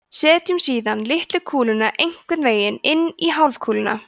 setjum síðan litlu kúluna einhvern veginn inn í hálfkúluna